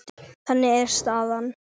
Þannig er staðan.